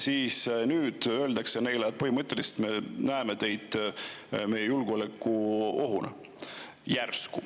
Nüüd järsku öeldakse neile, et põhimõtteliselt neid nähakse julgeolekuohuna.